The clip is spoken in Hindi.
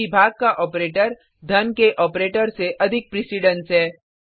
क्योंकि भाग का ऑपरेटर धन के ऑपरेटर से अधिक प्रिसिडेंस है